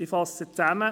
Ich fasse zusammen: